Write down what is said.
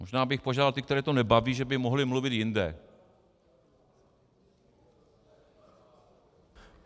Možná bych požádal ty, které to nebaví, že by mohli mluvit jinde.